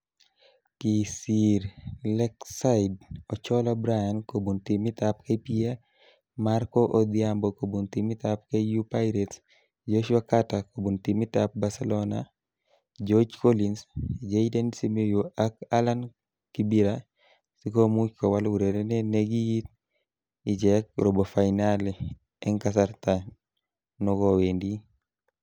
Kisir Lakeside Ocholla Bryan kobun timit ab KPA, Marko Odhiambo kobun timit ab KU Pirates, Joshua Carter kobun timit ab Barcelona, George Collins, Jayden Simiyu ak Allan Kibira sikomuch kowal urerenet nikiit ichek robo fainali eng kasarta nokowendi .